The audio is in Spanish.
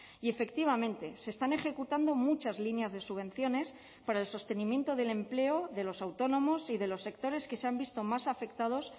y efectivamente se están ejecutando muchas líneas de subvenciones para el sostenimiento del empleo de los autónomos y de los sectores que se han visto más afectados